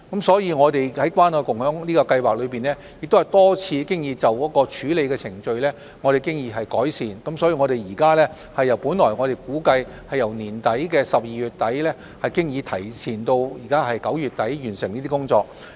所以，我們已多次就關愛共享計劃的處理程序作出改善，現時的目標已由本來估計的今年12月底，提前至9月底完成有關工作。